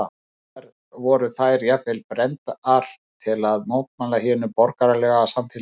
Sums staðar voru þær jafnvel brenndar til að mótmæla hinu borgaralega samfélagi.